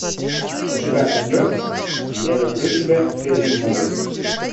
у тебя найдется я люблю тебя филлип моррис